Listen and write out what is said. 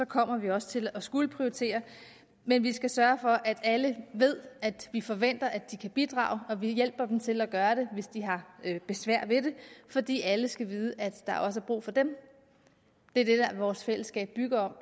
kommer vi også til at skulle prioritere men vi skal sørge for at alle ved at vi forventer at de kan bidrage og vi hjælper dem til at gøre det hvis de har besvær ved det fordi alle skal vide at der også er brug for dem det er det vores fællesskab bygger